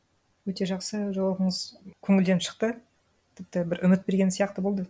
өте жақсы жауабыңыз көңілден шықты тіпті бір үміт берген сияқты болды